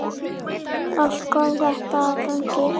Allt kom þetta að gagni.